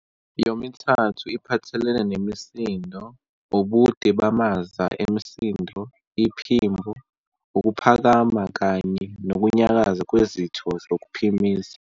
Yomithathu iphathelene nemisindo, ubude bamaza emisindo, iphimbo, ukuphakama kanye nokunyakaza kwezitho zokuphimisa.